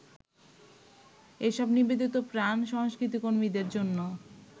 এইসব নিবেদিতপ্রাণ সংস্কৃতিকর্মীদের জন্য